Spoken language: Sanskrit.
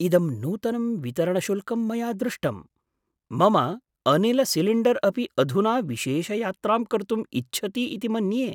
इदं नूतनं वितरणशुल्कं मया दृष्टम्, मम अनिलसिलिण्डर् अपि अधुना विशेषयात्रां कर्तुम् इच्छति इति मन्ये!